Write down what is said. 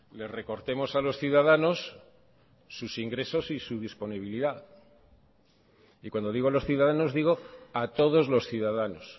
le recortemos a los ciudadanos sus ingresos y su disponibilidad y cuando digo los ciudadanos digo a todos los ciudadanos